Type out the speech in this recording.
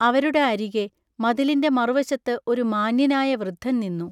അവരുടെ അരികെ മതിലിന്റെ മറുവശത്തു ഒരു മാന്ന്യനായ വൃദ്ധൻനിന്നു.